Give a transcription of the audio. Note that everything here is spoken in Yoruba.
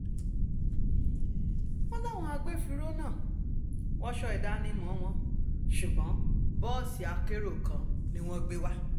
wọ́n láwọn agbófinró náà wọṣọ ìdánimọ̀ wọn ṣùgbọ́n bọ́ọ̀sì akérò kan ni wọ́n gbé wá